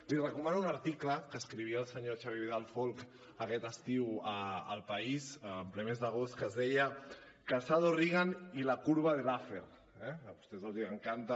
li recomano un article que escrivia el senyor xavier vidal folch aquest estiu a el país en ple mes d’agost que es deia casado reagan y la curva de laffer eh a vostès els encanta